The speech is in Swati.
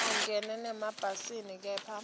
angene nasemabhasini kepha